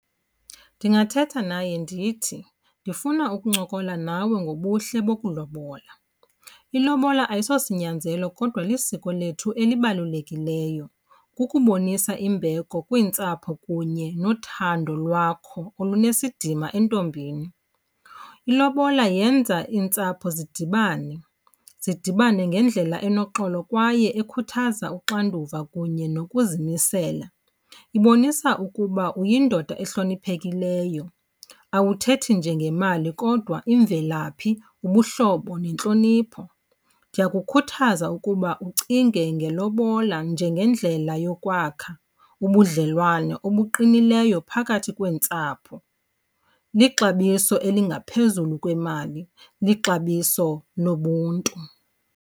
Ndingathetha naye ndithi ndifuna ukuncokola nawe ngobuhle bokulobola. Ilobola ayisosinyanzelo kodwa lisiko lethu elibalulekileyo. Kukubonisa imbeko kwiintsapho kunye nothando lwakho olunesidima entombini. Ilobola yenza iintsapho zidibane, zidibane ngendlela enoxolo kwaye ekhuthaza uxanduva kunye nokuzimisela. Ibonisa ukuba uyindoda ehloniphekileyo, awuthethi njee ngemali kodwa imvelaphi, ubuhlobo nentlonipho. Ndiyakukhuthaza ukuba ucinge ngelobola njengendlela yokwakha ubudlelwane obuqinileyo phakathi kweentsapho. Lixabiso elingaphezulu kwemali, lixabiso nobuntu.